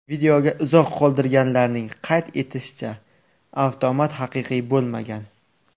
Videoga izoh qoldirganlarning qayd etishicha, avtomat haqiqiy bo‘lmagan.